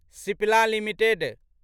Cipla limited